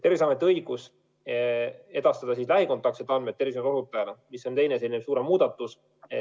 Terviseametil on õigus edastada lähikontaktsete andmed tervishoiuteenuse osutajale, mis on teine suurem muudatus.